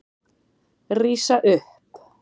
Rísa upp.